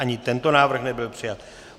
Ani tento návrh nebyl přijat.